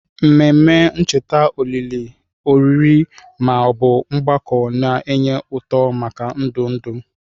Ememe ncheta olili, oriri, ma ọ bụ mgbakọ na-enye ụtụ maka ndụ ndụ.